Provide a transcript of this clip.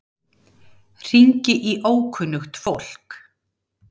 Hringi í ókunnugt fólk.